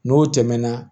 N'o tɛmɛna